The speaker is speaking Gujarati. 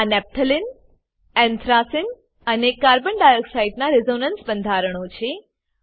આ નફ્થલેને એન્થ્રેસને અને carbon ડાયોક્સાઇડ નાં રેઝોનન્સ બંધારણો છે